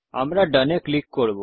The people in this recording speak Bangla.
আমরা Done এ ক্লিক করব